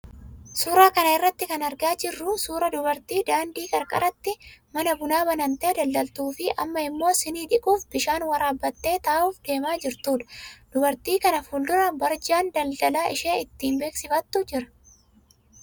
Suuraa kana irraa kan argaa jirru suuraa dubartii daandii qarqaratti mana bunaa banattee daldaltuu fi amma immoo siinii dhiquuf bishaan waraabbattee taa'uuf deemaa jirtudha. Dubartii kana fuuldura barjaan daldala ishee ittiin beeksifattu jira.